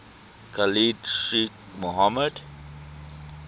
khalid sheikh mohammed